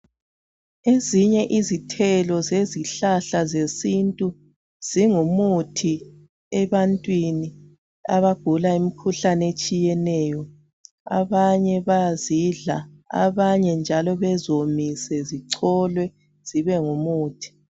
Ezinye izithelo zezihlahla zesintu zingumuthi ebantwini abagula imikhuhlane etshiyeneyo. Abanye bazidla abanye njalo beziwomise zicholwe zibengumuthi.